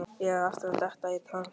Ég er aftur að detta í trans.